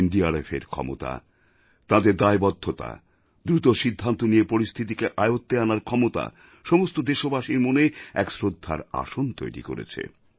এনডিআরএফের ক্ষমতা তাঁদের দায়বদ্ধতা দ্রুত সিদ্ধান্ত নিয়ে পরিস্থিতিকে আয়ত্বে আনার ক্ষমতা সমস্ত দেশবাসীর মনে এক শ্রদ্ধার আসন তৈরি করেছে